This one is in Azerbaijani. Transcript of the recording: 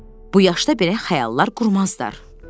Bu yaşda belə xəyallar qurmazlar.